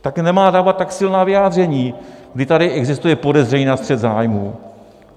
Tak nemá dávat tak silná vyjádření, když tady existuje podezření na střet zájmů.